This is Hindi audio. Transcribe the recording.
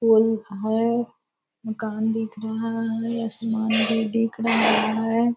फूल है मकान दिख रहा है आसमान भी दिख रहा है।